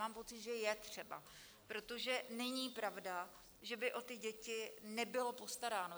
Mám pocit, že je třeba - protože není pravda, že by o ty děti nebylo postaráno.